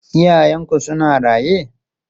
Iyayenku suna raye?